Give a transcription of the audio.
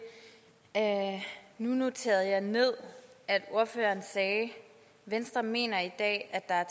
nu noterede jeg ned at ordføreren sagde venstre mener i dag at der er